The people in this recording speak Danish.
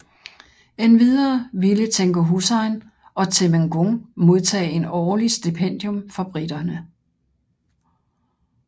Endvidere ville Tengku Hussein og temenggung modtage en årlig stipendium fra briterne